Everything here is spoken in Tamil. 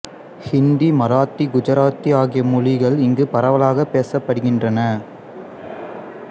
இந்தி மராத்தி குஜராத்தி ஆகிய மொழிகள் இங்கு பரவலாக பேசப்படுகின்றன